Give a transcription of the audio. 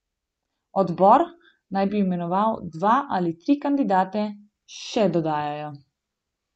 Odbor naj bi imenoval dva ali tri kandidate, še dodajajo.